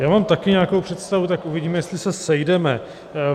Já mám taky nějakou představu, tak uvidíme, jestli se sejdeme.